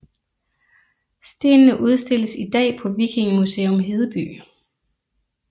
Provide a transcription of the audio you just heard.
Stenene udstilles i dag på Vikingemuseum Hedeby